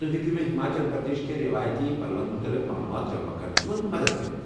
تُہۍ ہیٚکوٕ مےٚ ہماچل پردیش کٮ۪ن رٮ۪وٲیتی پلون متعلق معلوٗمات جمع کرنس منٛز مدتھ کٔرتھ ؟